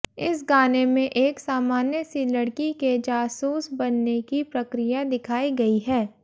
इस गाने में एक सामान्य सी लड़की के जासूस बनने की प्रक्रिया दिखाई गई है